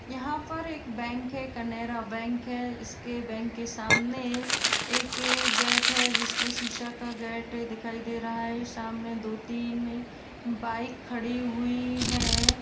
यहां पर एक बैंक है केनरा बैंक है। इसके बैंक के सामने एक गेट है जिसमें शीशा का गेट दिखाई दे रहा है। सामने दो-तीन बाइक खड़ी हुई है।